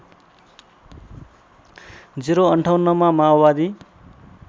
०५८ मा माओवादी